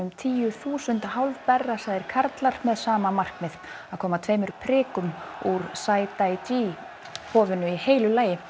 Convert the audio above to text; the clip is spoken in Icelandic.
tíu þúsund karlar með sama markmið að koma tveimur prikum út úr Saidaiji hofinu í heilu lagi